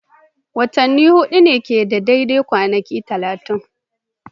Watanni hudu ne kawai ke da daidai kwanaki 30.